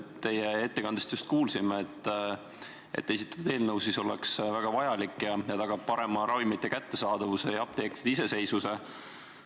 Teie ettekandest just kuulsime, et esitatud eelnõu on väga vajalik ja tagaks seadusena parema ravimite kättesaadavuse ja apteekide iseseisvuse.